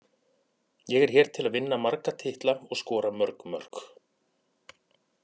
Ég er hér til að vinna marga titla og skora mörg mörk.